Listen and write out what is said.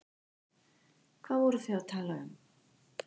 Hvað voru þau að tala um?